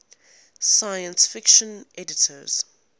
science fiction editors